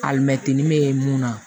Alimɛti me mun na